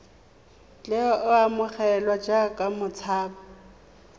tle a amogelwe jaaka motshabi